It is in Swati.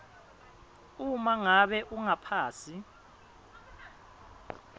uma ngabe ungaphasi